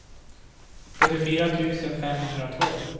sjuttiofyra tusen femhundratvå